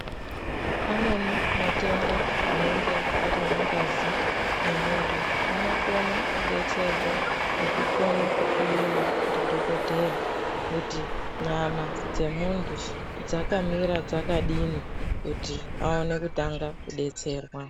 Amweni matenda anenge arimu ngazi mwe muntu ano kone ku detserwa ngeku kone ku hloyewa ndi dhokodheya kuti nyama dze muntu dzaka mira dzakadini kuti awone kutanga ku detserwa.